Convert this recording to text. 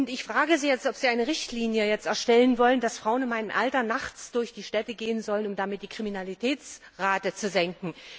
Ich frage Sie, ob Sie jetzt in einer Richtlinie festlegen wollen, dass Frauen in meinem Alter nachts durch die Städte gehen sollen, um die Kriminalitätsrate zu senken?